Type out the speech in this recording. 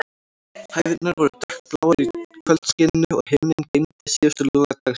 Hæðirnar voru dökkbláar í kvöldskininu, og himinninn geymdi síðustu loga dagsins.